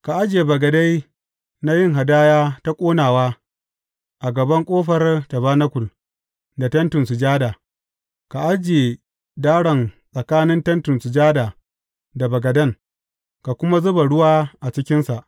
Ka ajiye bagade na yin hadaya ta ƙonawa a gaban ƙofar tabanakul, da Tentin Sujada; ka ajiye daron tsakanin Tentin Sujada da bagaden, ka kuma zuba ruwa a cikinsa.